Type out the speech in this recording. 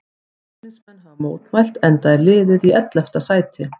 Stuðningsmenn hafa mótmælt enda er liðið í ellefta sæti.